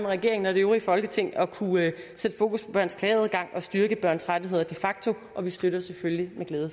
regeringen og det øvrige folketing at kunne sætte fokus på børns klageadgang og styrke børns rettigheder de facto og vi støtter selvfølgelig med glæde